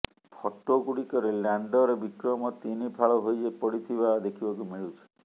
photo ଗୁଡ଼ିକରେ lander Vikram ତିନି ଫାଳ ହୋଇପଡ଼ିଥିବା ଦେଖିବାକୁ ମିଳୁଛି